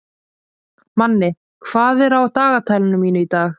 Manni, hvað er á dagatalinu mínu í dag?